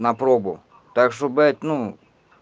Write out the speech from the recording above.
на пробу так что блять ну